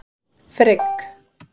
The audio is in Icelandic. Frigg